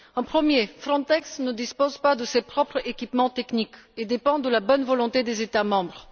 Premièrement, Frontex ne dispose pas de ses propres équipements techniques et dépend de la bonne volonté des États membres.